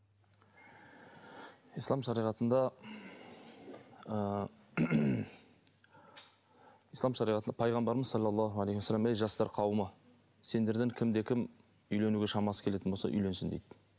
ислам шариғатында ы ислам шариғатында пайғамбарымыз саллаллаху алейхи уассалам ей жастар қауымы сендерден кімде кім үйленуге шамасы келетін болса үйленсін дейді